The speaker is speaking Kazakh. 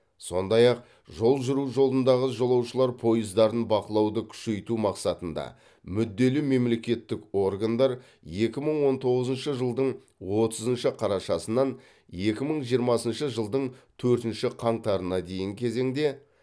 сондай ақ жол жүру жолындағы жолаушылар пойыздарын бақылауды күшейту мақсатында мүдделі мемлекеттік органдар екі мың он тоғызыншы жылдың отызыншы қарашасынан екі мың жиырмасыншы жылдың төртінші қаңтарына дейінгі кезеңде